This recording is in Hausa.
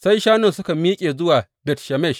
Sai shanun suka miƙe zuwa Bet Shemesh.